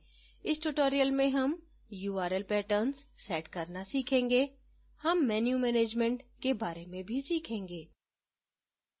इस tutorial में हम url patterns set करना सीखेंगे हम menu management के बारे में भी सीखेंगे